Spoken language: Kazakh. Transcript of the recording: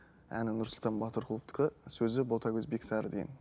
әні нұрсұлтан батырқұловтікі сөзі ботагөз бексары деген